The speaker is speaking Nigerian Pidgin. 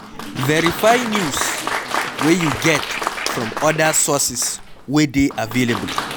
Verify news wey you get from oda sources wey dey available